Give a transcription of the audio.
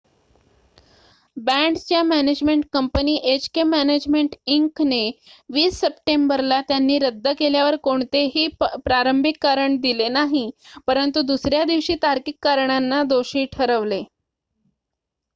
बँडच्या management company HK management Inc ने 20 सप्टेंबरला त्यांनी रद्द केल्यावर कोणतेही प्रारंभिक कारण दिले नाही परंतु दुसर्‍या दिवशी तार्किक कारणांना दोषी ठरविले